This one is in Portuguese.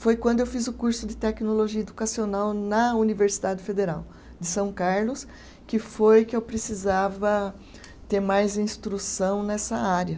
Foi quando eu fiz o curso de tecnologia educacional na Universidade Federal de São Carlos, que foi que eu precisava ter mais instrução nessa área.